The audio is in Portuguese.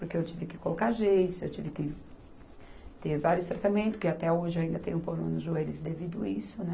Porque eu tive que colocar gesso, eu tive que ter vários tratamentos, que até hoje eu ainda tenho problema nos joelhos devido isso, né?